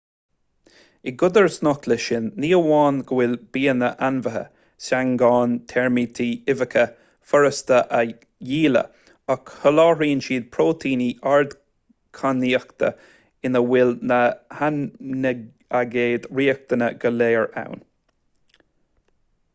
i gcodarsnacht leis sin ní amháin go bhfuil bianna ainmhithe seangáin teirmítí uibheacha furasta a dhíleá ach soláthraíonn siad próitéiní ardchainníochta ina bhfuil na haimínaigéid riachtanacha go léir ann